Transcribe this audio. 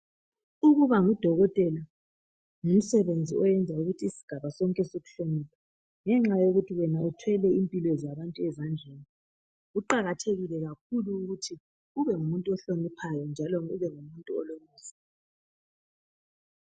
ukuba ngu dokotela ngumsebenzi oyenza ukuthi isigaba sonke sikuhloniphe ngenxa yokuthi wena uthwele impilo zabantu ezandleni kuqakathekile kakhulu ukuthi ube ngumuntu ohliniphayo njalo ube ngumuntu